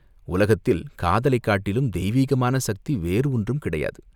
உலகத்தில் காதலைக் காட்டிலும் தெய்வீகமான சக்தி வேறு ஒன்றும் கிடையாது.